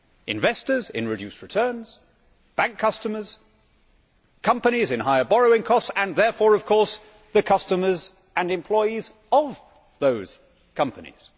Investors in reduced returns, bank customers, companies in higher borrowing costs and therefore of course the customers and employees of those companies.